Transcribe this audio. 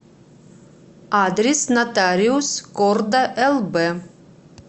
адрес нотариус корда лб